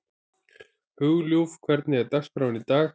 Hugljúf, hvernig er dagskráin í dag?